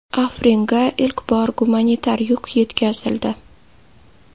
Afringa ilk bor gumanitar yuk yetkazildi.